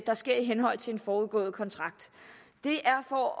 der sker i henhold til en forudgående kontrakt det er for at